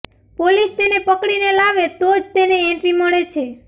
police તેને પકડીને લાવે તો જ તેને એન્ટ્રી મળે છે